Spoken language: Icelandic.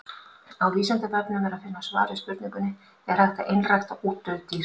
Á Vísindavefnum er að finna svar við spurningunni Er hægt að einrækta útdauð dýr?